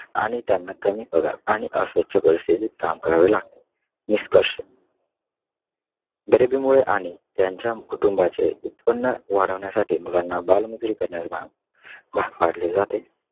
आणि त्यांना कमी पगार आणि अस्वछ परिस्थितीत काम करावे लागते . निष्कर्ष गरिबीमुळे आणि त्यांना त्यांच्या कुटुंबाचे उत्पन्न वाढवण्यासाठी मुलांना बालमजूरी करण्यास भाग अं भाग पाडले जाते.